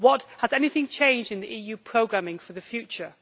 Has anything changed in the EU programming for the future?